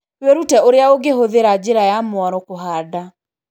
Wĩrute ũrĩa ũngĩhũthĩra njĩra ya mwaro kũhanda.